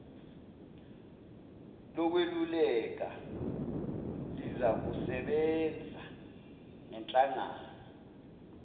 lokweluleka lizakusebenza ngenhlangana